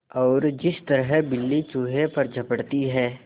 और जिस तरह बिल्ली चूहे पर झपटती है